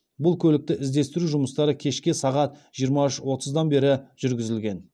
бұл көлікті іздестіру жұмыстары кешке сағат жиырма үш отыздан бері жүргізілген